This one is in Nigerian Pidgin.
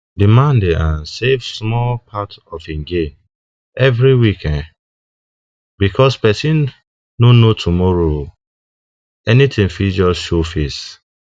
the man dey um save small part of him gain every week um because person no know tomorrow um anything fit just show face